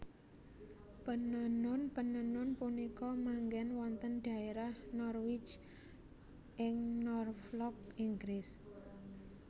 Penenun penenun punika manggèn wonten dhaérah Norwich ing Norflok Inggris